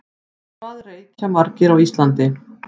Hvað reykja margir á Íslandi?